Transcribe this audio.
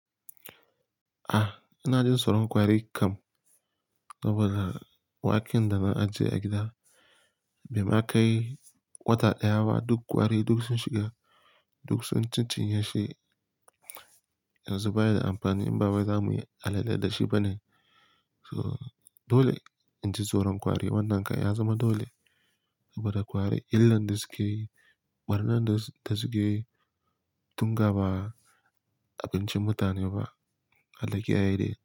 Ah, ina jin tsoron kwari kam. Saboda waken da na ajiye a gida bai ma kai wata ɗaya ba duk kwari duk sun shiga duk sun cicinye shi. Yanzu ba ya da amfani in ba wai za mu yi alale da shi bane. So dole in ji tsoron kwari wannan kai ya zama dole. Saboda kwari illan da sukeyi, ɓarna dasu ke, tun ga ba abincin mutane ba. Hallakiya ne.